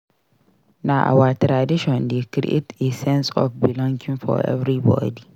Na our traditions dey create a sense of belonging for everybody.